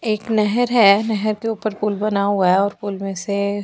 एक नहर है नहर के ऊपर पुल बना हुआ है और पुल में से प--